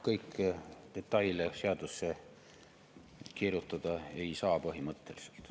Kõiki detaile põhimõtteliselt seadusesse kirjutada ei saa.